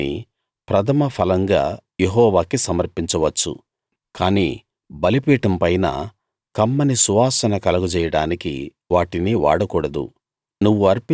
వాటిని ప్రథమఫలంగా యెహోవాకి సమర్పించవచ్చు కానీ బలిపీఠం పైన కమ్మని సువాసన కలగజేయడానికి వాటిని వాడకూడదు